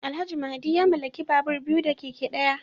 Alhaji Mahdi ya mallaki babur biyu da keke daya